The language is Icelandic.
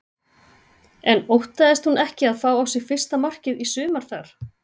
En óttaðist hún ekki að fá á sig fyrsta markið í sumar þar?